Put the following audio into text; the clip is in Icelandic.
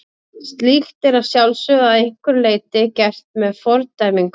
Slíkt er að sjálfsögðu að einhverju leyti gert með fordæmingu.